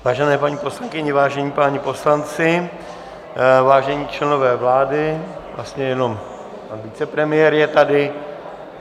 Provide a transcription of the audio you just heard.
Vážené paní poslankyně, vážení páni poslanci, vážení členové vlády - vlastně jenom pan vicepremiér je tady.